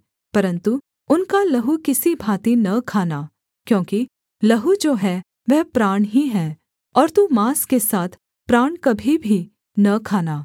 परन्तु उनका लहू किसी भाँति न खाना क्योंकि लहू जो है वह प्राण ही है और तू माँस के साथ प्राण कभी भी न खाना